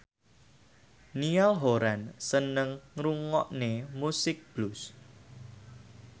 Niall Horran seneng ngrungokne musik blues